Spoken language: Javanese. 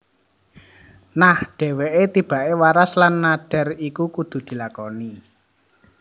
Nah dheweke tibake waras lan nadhar iki kudu dilakoni